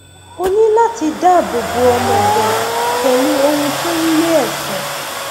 o ní láti dáàbò bo ọmọ rẹ pẹlú ohun tó ń lé ẹfọn